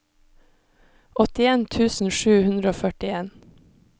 åttien tusen sju hundre og førtien